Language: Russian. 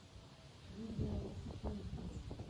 видео сулкин